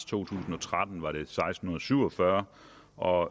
tusind og tretten var det seksten syv og fyrre og